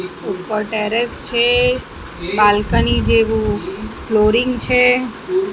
ઉપર ટેરેસ છે બાલ્કની જેવું ફ્લોરિંગ છે.